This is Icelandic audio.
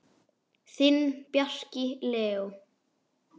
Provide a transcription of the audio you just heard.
Þinn, Bjarki Leó.